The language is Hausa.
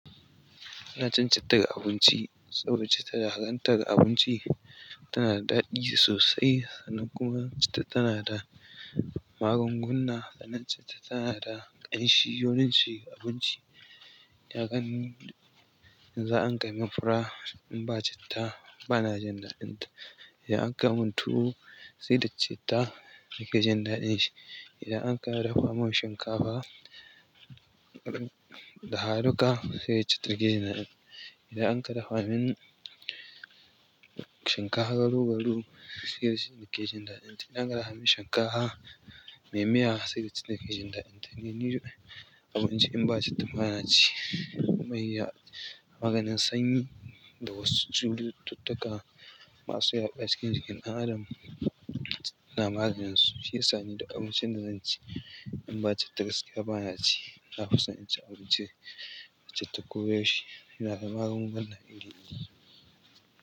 Ina cin citta ga abinci saboda citta da ka ganta ga abinci tanada daɗi sosai sannan kuma citta tanada magunguna sannan citta tana da ƙanshi wurin cin abinci. Kagani yanzu in an kai mun fura in ba citta bana jin daɗinta. Idan an kai mun tuwo sai da citta nake jin daɗin shi. Idan an kai dafa mun shinkafa dafa duka sai da citta nike jin daɗin. Idan an kai dafa min shinkafa garau-garau sai da citta nake jin daɗin. Idan an kai dafa min shinkafa mai miya sai da citta nake jin daɗinta. Kai ni duk abinci in ba citta bana ci. Mai ya maganin sanyi da wasu cututtuka masu yaɗuwa cikin ɗan adam taa maganin su shi yasa ni duk abincin da zanci in ba citta gaskiya bana ci. Nafi son cin abinci da citta ko ya shi tana da magunguna iri-iri.